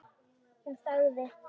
Hún þagði.